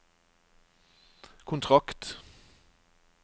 kontrakt